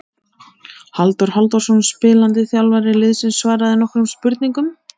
Bergfríður, hvaða mánaðardagur er í dag?